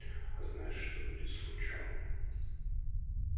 а знаешь что будет с лучом